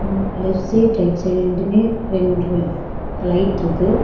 அ left side right side ரெண்டுமே ரெண்டு லைட்ருக்கு .